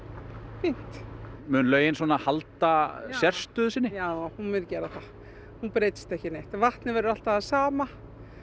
fínt mun laugin halda sérstöðu sinni já hún mun gera það hún breytist ekki neitt vatnið verður alltaf það sama